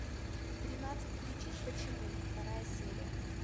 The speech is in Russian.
тринадцать причин почему вторая серия